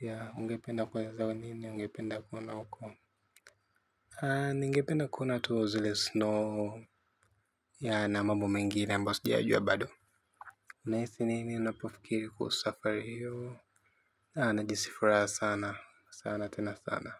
Ya, ungependa kuna zao nini ungependa kuna huko, ningependa kuna tu zile snow. Ya na mambo mengine ambayo sijayajua bado. Unahisi nini unapofikiri kuhusu safari hiyo, najihisi furaha sana sana tena sana.